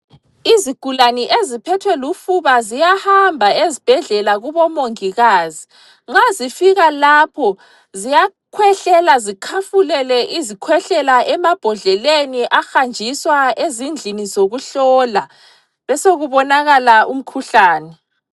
Izigulane eziphethwe lufuba ziyahamba ezibhedlela kubomongikazi. Nxa zifika lapho ziyakhwehlela zikhafulele izikhwehlela emambodleleni ahanjiswa ezindlini zokuhlola, besokubonakala umkhuhlane.